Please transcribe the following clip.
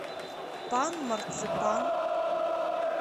пан марципанъ